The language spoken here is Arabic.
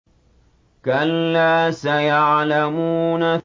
كَلَّا سَيَعْلَمُونَ